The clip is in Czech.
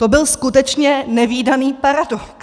To byl skutečně nevídaný paradox.